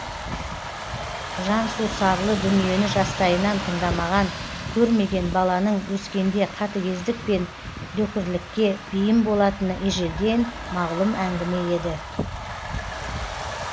жансусарлы дүниені жастайынан тыңдамаған көрмеген баланың өскенде қатігездік пен дөкірлікке бейім болатыны ежелден мағлұм әңгіме еді